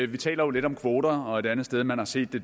vi taler jo lidt om kvoter og et andet sted man har set det